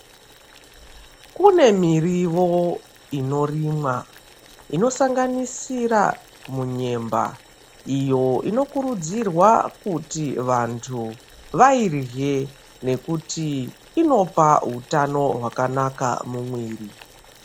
Kune mirivo inorimwa inosanganisira munyemba. Iyo inokurudzirwa kuti vantu vairye nekuti inopa hutano hwakanaka mumwiri.